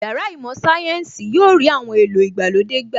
Yàrá īmò Sayensi yóò rí àwọn èlò ìgbàlódé gbà